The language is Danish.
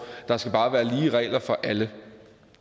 der skal bare være lige regler for alle